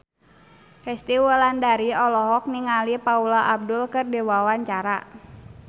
Resty Wulandari olohok ningali Paula Abdul keur diwawancara